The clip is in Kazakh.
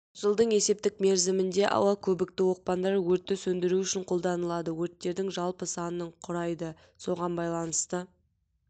жылдың есептік мерзімінде ауа-көбікті оқпандар өртті сөндіру үшін қолданылды өрттердің жалпы санының құрайды соған байланысты